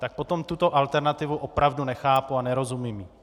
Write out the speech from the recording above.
Tak potom tuto alternativu opravdu nechápu a nerozumím jí.